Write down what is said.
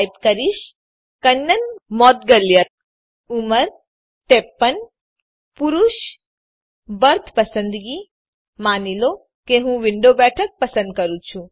type કરીશ કન્નન મોઉદગલ્યા ઉંમર ૫૩ પુરુષ બર્થ પસંદગી માની લો કે હું વિન્ડો બેઠક પસંદ કરું છું